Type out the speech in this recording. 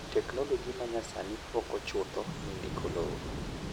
teknoloji ma nyasani poko chutho e ndiko lowo